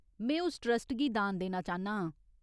में उस ट्रस्ट गी दान देना चांह्न्ना आं।